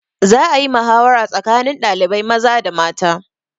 Za a yi mahawara tsakanin ɗalibai maza da mata.